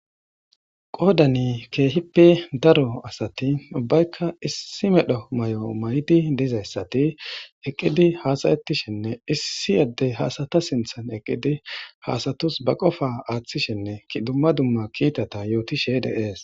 Qodan kehippe daro ubbayika issi mala mayo mayidi dizaysati eqidi hasayetishenz issi adey ha asata sinthan eqidi ha asatu ba qopa athishene duma duma kita yotishe de'es.